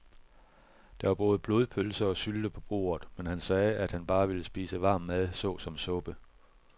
Der var både blodpølse og sylte på bordet, men han sagde, at han bare ville spise varm mad såsom suppe.